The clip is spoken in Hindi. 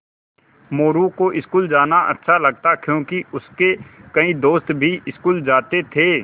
मोरू को स्कूल जाना अच्छा लगता क्योंकि उसके कई दोस्त भी स्कूल जाते थे